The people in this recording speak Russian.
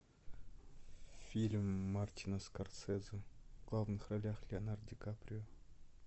фильм мартина скорсезе в главных ролях леонардо ди каприо